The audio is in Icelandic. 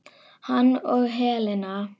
Hann og Helena.